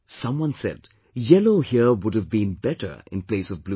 Someone said, 'yellow here would have been better in place of blue